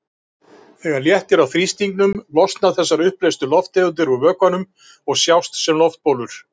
Þegar léttir á þrýstingnum losna þessar uppleystu lofttegundir úr vökvanum og sjást sem loftbólur.